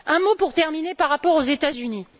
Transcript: Un mot pour terminer par rapport aux États Unis.